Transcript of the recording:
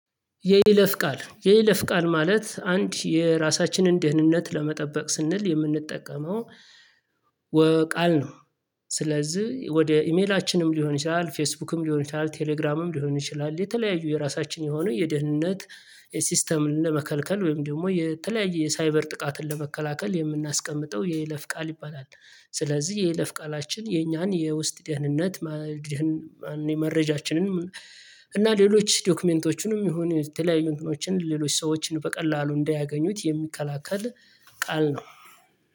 የይለፍ ቃል የይለፍ ቃል ማለት አንድ የራሳችንን ደህንነት ለመጠበቅ ስንል የምንጠቀመው ቃል ነው። ስለዚህ ወደ ኢሜላችንም ሊሆን ይችላል ፌስቡክም ሊሆን ይችላል ቴሌግራምም ሊሆን ይችላል። የተለያዩ የራሳችን የሆነ የድህነት ሲስተም ለመከልከል ወይም ደግሞ የተለያየ የሳይበር ጥቃትን ለመከላከል የምናስቀምጠው የይለፍ ቃል ይባላል። ስለዚህ የይለፍ ቃላችን የኛን የውስጥ ደህንነት መረጃችንን እና ሌሎች ዶክመንቶችንም ይሁን የተለያዩ እንትኖችን ሌሎች ሰዎችን በቀላሉ እንዳያገኙት የሚከላከል ቃል ነው